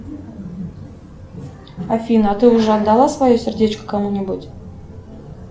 афина а ты уже отдала свое сердечко кому нибудь